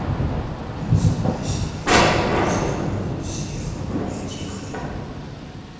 тридцатая серия второго сезона сериала библиотекаря